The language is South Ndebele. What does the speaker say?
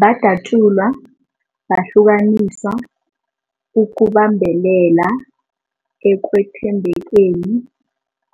Badatjulwa, bahlukaniswa ukubambelela ekwethembekeni